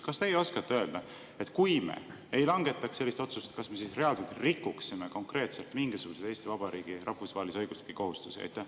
Kas teie oskate öelda, et kui me ei langetaks sellist otsust, siis kas me reaalselt rikuksime konkreetselt mingisuguseid Eesti Vabariigi rahvusvahelisi õiguslikke kohustusi?